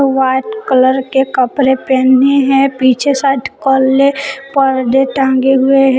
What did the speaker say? White colour के कपड़े पहने हैं पीछे साइड काले पर्दे टंगे हुए हैं।